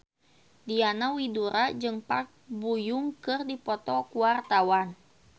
Diana Widoera jeung Park Bo Yung keur dipoto ku wartawan